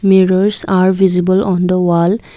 mirrors are visible on the wall.